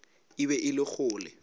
e be e le kgole